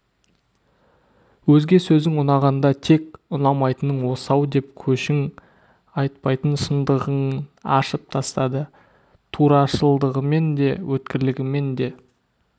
өзге сөзің ұнағанда тек ұнамайтының осы-ау деп көшің айтпайтын шыңдығын ашып тастады турашылдығымен де өткірлігімен де